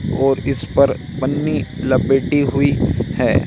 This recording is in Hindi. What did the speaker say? और इस पर पन्नी लपेटे हुई हैं।